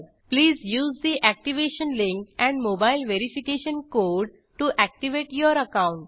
please use the activation link and mobile verification code to activate your account